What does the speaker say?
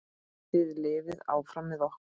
Þið lifið áfram með okkur.